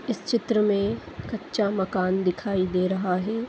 इस चित्र में कच्चा मकान दिखाई दे रहा है।